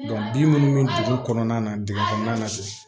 bin minnu bɛ dugu kɔnɔna na dugu kɔnɔna na